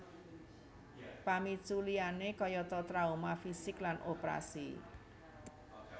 Pamicu liyane kayata trauma fisik lan oprasi